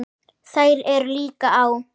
Þær eru líka á